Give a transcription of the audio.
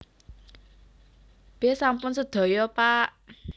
B Sampun sedaya pak